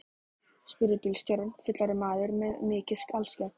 spurði bílstjórinn, fullorðinn maður með mikið alskegg.